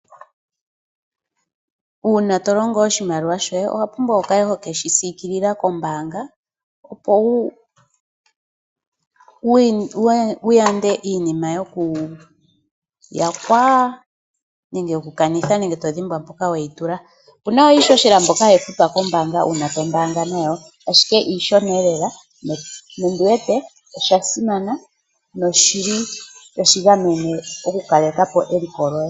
Uuna to longo oshimaliwa shoye owa pumbwa wu kale ho ke shi siikilila kombaanga, opo wu yande iinima yokuyakwa nenge okukanitha nenge to dhimbwa mpoka we yi tula. Opu na iihohela mbyoka hayi futwa kombaanga uuna to mbaanga nayo, ashike iishona lela nondi wete osha simana notashi gamene okukaleka po eliko lyoye.